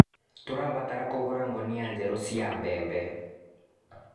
Tũrabatara kũgũra ngũnia njerũ cia mbembe.